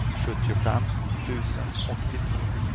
sjuttiofem tusen åttiotvå